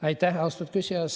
Aitäh, austatud küsija!